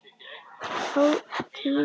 Tíðni og erfðir